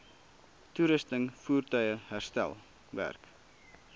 toerusting voertuie herstelwerk